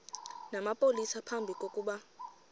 namapolisa phambi kokuba